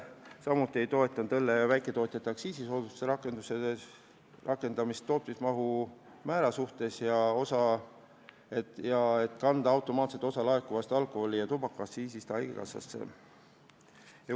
Samuti ei toetanud me õlle väiketootjate aktsiisisoodustuse rakendumiseks tootmismahu määra tõstmist ja ettepanekut kanda osa laekuvast alkoholi- ja tubakaaktsiisist automaatselt haigekassa arvele.